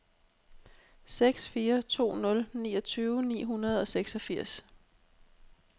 seks fire to nul niogtyve ni hundrede og seksogfirs